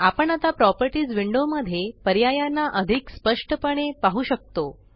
आपण आता properties window मध्ये पर्यायांना अधिक स्पष्टपणे पाहु शकतो